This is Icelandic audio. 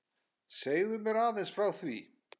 Segðu mér aðeins frá því?